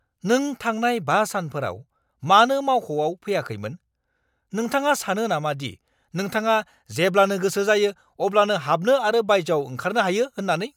नों थांनाय 5 सानफोराव मानो मावख'आव फैयाखैमोन? नोंथाङा सानो नामा दि नोंथाङा जेब्लानो गोसो जायो अब्लानो हाबनो आरो बायजोआव ओंखारनो हायो होननानै!